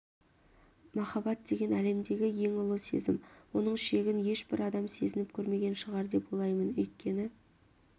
махаббат деген әлемдегі ең ұлы сезім оның шегін ешбір адам сезініп көрмеген шығар деп ойлаймын өйткені